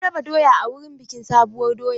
An raba doya a wurin bikin sabuwar doya.